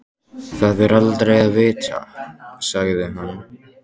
Það er aldrei að vita sagði hann.